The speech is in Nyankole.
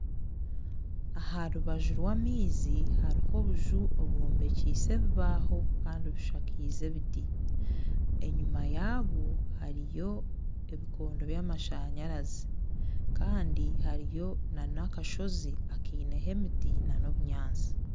Aha rubaju rw'amaizi hariho obuju obwombekiise ebibaho Kandi bushakaize ebiti enyuma yaayo hariyo ebikondo byamashanyarazi Kandi hariyo na akasozi akeineyo emiti n'obunyatsi